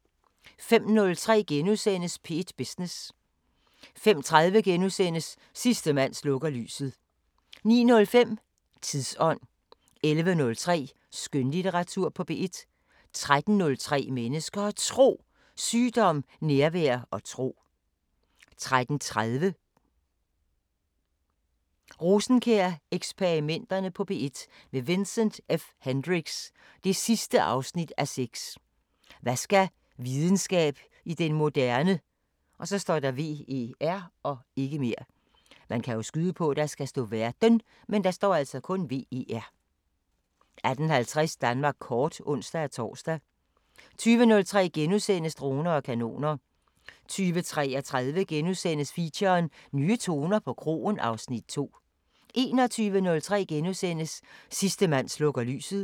05:03: P1 Business * 05:30: Sidste mand slukker lyset * 09:05: Tidsånd 11:03: Skønlitteratur på P1 13:03: Mennesker og Tro: Sygdom, nærvær og tro 13:30: Rosenkjær-eksperimenterne på P1 – med Vincent F Hendricks: 6:6 Hvad skal videnskab i den moderne ver 18:50: Danmark kort (ons-tor) 20:03: Droner og kanoner * 20:33: Feature: Nye toner på kroen (Afs. 2)* 21:03: Sidste mand slukker lyset *